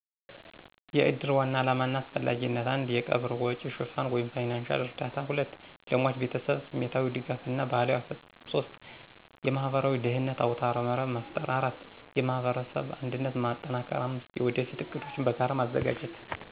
**የእድር ዋና ዓላማና አስፈላጊነት:** 1. የቀብር ወጪ ሽፋን (ፋይናንሺያል እርዳታ) 2. ለሟች ቤተሰብ ስሜታዊ ድጋፍ እና ባህላዊ አፈፃፀም 3. የማህበራዊ ደህንነት አውታረመረብ መፍጠር 4. የማህበረሰብ አንድነት ማጠናከር 5. የወደፊት ዕቅዶችን በጋራ ማዘጋጀት